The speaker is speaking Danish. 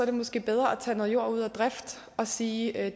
det måske bedre at tage noget jord ud af drift og sige at